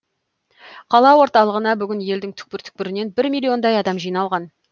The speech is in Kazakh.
қала орталығына бүгін елдің түкпір түкпірінен бір миллиондай адам жиналған